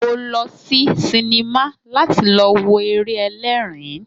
Mo lọ sí sinimá láti lọ wo eré ẹlẹ́ẹ̀rin